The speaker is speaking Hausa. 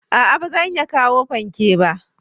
A'a ba zan iya kawo fanke ba.